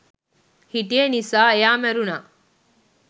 හිටිය නිසා එයා මැරුණා